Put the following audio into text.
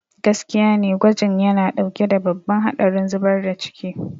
Gaskiya ne, gwajin yana ɗauke da babban haɗarin zubar da ciki.